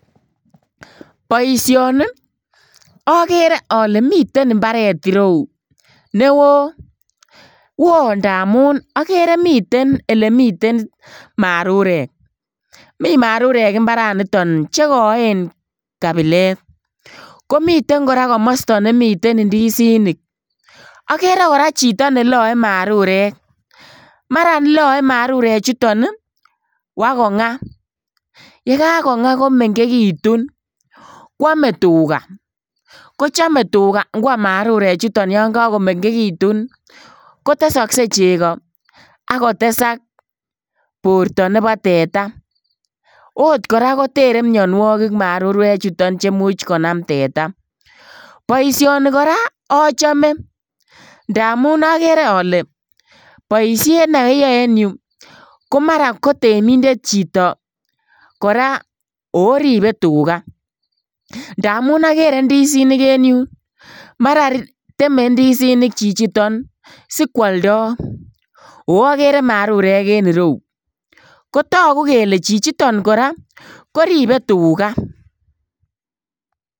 Boisioni okeree ole miten imbaret ireu newo, woo ndamun okere miten elemiten marurek, mi marurek imbaraniton chekoen kabilet, komiten komosto koraa nemitwn indizinik, okere koraa chito neloe marurek maran loe marurechuton ii kwakongaa, yegagongaa komengekitun kwome tugaa kochome ikwam tugaa yon kokomengekitun kotesokee cheko ak kotesak borto nebo teta, oot koraa kotere marurechuton mionuokik chemuch konam teta, boisioni koraa ochome ndamun okere ole boishet ne oyoe en yu komara kotemindet chito koraa oribe tugaa ndamun okere indizinik en yu maran teme indizinik chichiton sikwoldo oo okere marurek en ireu kotogu kele chichiton koraa koribe tugaa.